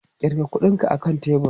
Ƙirga kuɗinka a kan tebur!